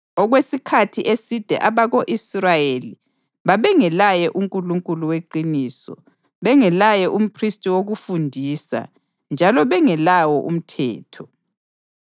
Okwesikhathi eside abako-Israyeli babengelaye uNkulunkulu weqiniso, bengelaye umphristi wokufundisa njalo bengelawo umthetho.